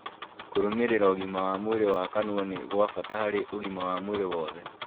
Kũrũmĩrĩra ũgima wa mwĩrĩ wa kanua nĩ gwa bata harĩ ũgima wa mwĩrĩ wothe